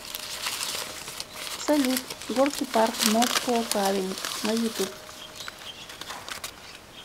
салют горки парк москоу каллинг на ютуб